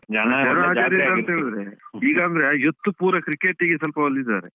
ಈಗಂದ್ರೆ youth ಪೂರ cricket ಗೆ ಸ್ವಲ್ಪ ಒಲ್ದಿದ್ದಾರೆ.